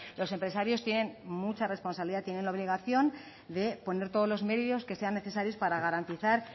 los empresarios tienen mucha responsabilidad tienen la obligación de poner todos los medios que sean necesarios para garantizar